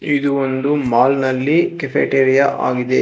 ಇದು ಒಂದು ಮಾಲ್ ನಲ್ಲಿ ಕೆಪಿಟೇರಿಯ ಆಗಿದೆ.